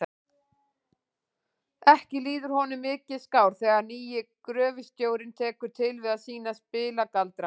Ekki líður honum mikið skár þegar nýi gröfustjórinn tekur til við að sýna spilagaldra.